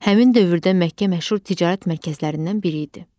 Həmin dövrdə Məkkə məşhur ticarət mərkəzlərindən biri idi.